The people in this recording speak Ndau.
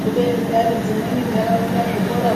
Kubeni piya dzimweni ndaraunda zvimweni